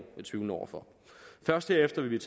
tvivlende over for og først derefter vil